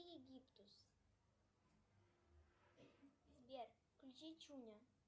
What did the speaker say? сбер включи чуня